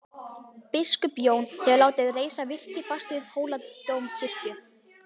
Biskup Jón hefur látið reisa virki fast við Hóladómkirkju.